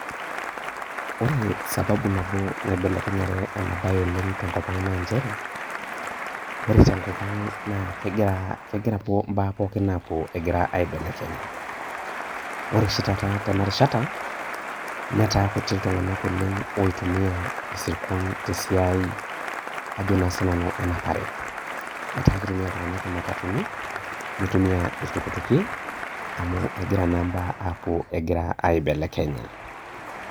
Ore sababu nabo naibelekenye ena bae tebnkopaang naa nchere ore tenkop aang, kegira mbaa pookin apuo egira aibelekenya, ore oshi taata tenarishata netaa kutik ltunganak oleng oitumia isirkon tesiai ajo naa sinanu enapare, ata kitumia ltunganak imatatuni nitumia ltukutuki amu egira naa mbaa apuo egira aibelekenya.